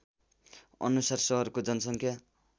अनुसार सहरको जनसङ्ख्या